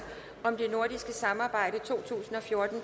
om det nordiske samarbejde to tusind og fjorten